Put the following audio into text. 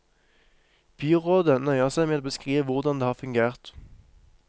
Byrådet nøyer seg med å beskrive hvordan det har fungert.